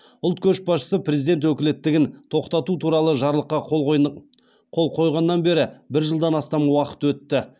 ұлт көшбасшысы президент өкілеттігін тоқтату туралы жарлыққа қол қойынып қол қойғаннан бері бір жылдан астам уақыт өтті